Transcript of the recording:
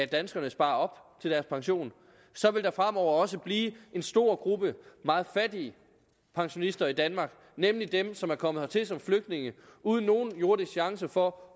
danskerne sparer op til deres pension vil der fremover også blive en stor gruppe meget fattige pensionister i danmark nemlig dem som er kommet hertil som flygtninge uden nogen jordisk chance for